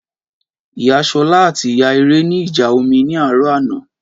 Ìyá ṣọlá àti ìyá ire ní ìjà omi ní àárọ̀ àná